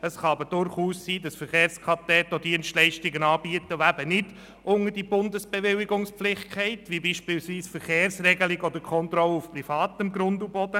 Es kann aber durchaus sein, dass die Verkehrskadetten auch Dienstleistungen anbieten, die eben nicht unter die Bundesbewilligungspflicht fallen, wie beispielsweise die Verkehrsregelung oder -kontrolle auf privatem Grund und Boden.